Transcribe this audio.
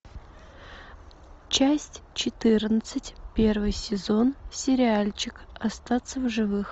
часть четырнадцать первый сезон сериальчик остаться в живых